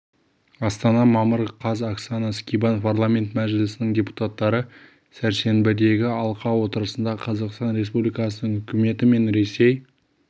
астана мамыр қаз оксана скибан парламент мәжілісінің депутаттары сәрсенбідегі алқа отырысында қазақстан республикасының үкіметі мен ресей